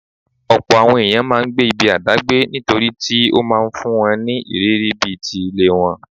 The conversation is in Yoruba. Ọ̀pọ̀ àwọn ẹ̀yàn máa ńgbé ibi àdágbé nítorítí ó máa ńfún wọn ní ìrírí bí ti ilé wọn.